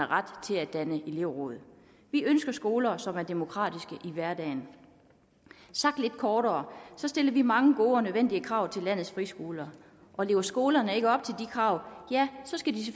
ret til at danne elevråd vi ønsker skoler som er demokratiske i hverdagen sagt lidt kortere så stiller vi mange gode og nødvendige krav til landets friskoler og lever skolerne ikke op til de krav skal de